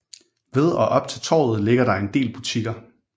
Ved og op til torvet ligger der en del butikker